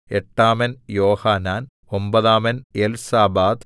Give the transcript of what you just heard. എട്ടാമൻ Johanan ഒമ്പതാമൻ Elzabad